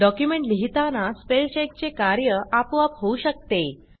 document लिहिताना spell चेकचे कार्य आपोआप होऊ शकते